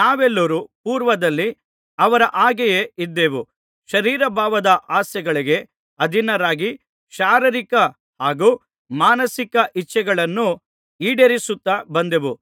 ನಾವೆಲ್ಲರೂ ಪೂರ್ವದಲ್ಲಿ ಅವರ ಹಾಗೆಯೇ ಇದ್ದೆವು ಶರೀರಭಾವದ ಆಸೆಗಳಿಗೆ ಅಧೀನರಾಗಿ ಶಾರೀರಿಕ ಹಾಗೂ ಮಾನಸಿಕ ಇಚ್ಛೆಗಳನ್ನು ಈಡೇರಿಸುತ್ತಾ ಬಂದೆವು